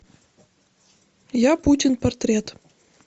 я путин портрет